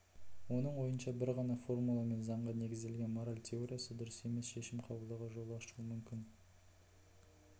оның ойынша бір ғана формула мен заңға негізделген мораль теориясы дұрыс емес шешім қабылдауға жол ашуы мүмкін